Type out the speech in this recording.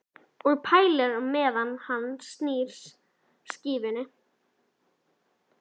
Og pælir meðan hann snýr skífunni.